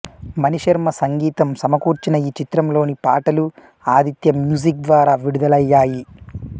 మణిశర్మ సంగీతం సమకూర్చిన ఈ చిత్రంలోని పాటలు ఆదిత్యా మ్యూజిక్ ద్వారా విడుదలయ్యాయి